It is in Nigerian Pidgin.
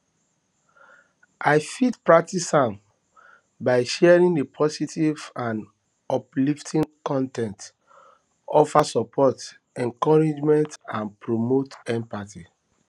i fit practice am by sharing a positive and uplifting con ten t offer support encouragement and promote empathy